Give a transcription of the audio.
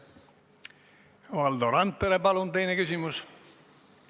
Valdo Randpere, palun, teine küsimus!